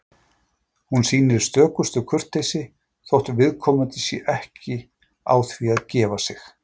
Hún sýnir stökustu kurteisi, þótt viðkomandi sé ekki á því að gefa sig.